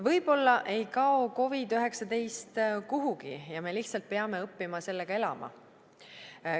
Võib-olla ei kao COVID-19 kuhugi ja me lihtsalt peame õppima sellega elama.